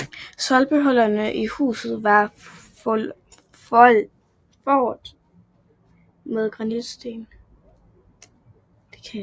Stolpehullerne i huset var foret med granitsten